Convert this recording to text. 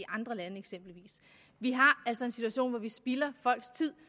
andre lande vi har altså en situation hvor vi spilder folks tid